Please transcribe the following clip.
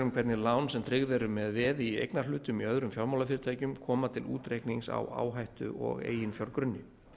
um hvernig lán sem tryggð eru með veði í eignarhlutum í öðrum fjármálafyrirtækjum koma til útreiknings á áhættu og eiginfjárgrunni